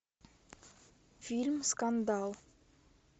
фильм скандал